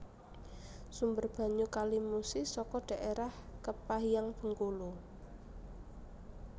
Sumber banyu Kali Musi saka dhaérah Kepahiang Bengkulu